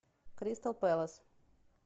кристал пэлас